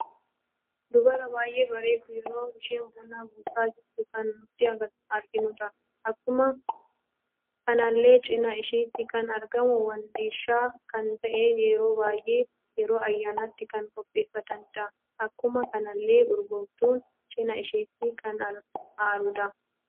Dubara baay'ee bareeddu yeroo isheen buna buusa jirtu kan nuti arginudha. Akkuma kanallee cina isheetti kan argamu wandiisha kan ta'e yeroo baay'ee yeroo ayyaanaatti kan qopheeffatanidha. Akkuma kanalle urgooftuun cina isheeti kan aaruudha.